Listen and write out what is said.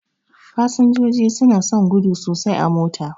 Fasinjoji suna son gudu sosai a mota.